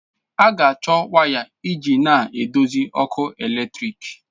A ga-achọ waya iji na-eduzi ọkụ eletrik.